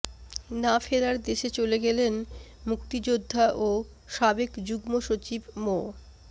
না ফেরার দেশে চলে গেলেন মুক্তিযোদ্ধা ও সাবেক যুগ্ম সচিব মো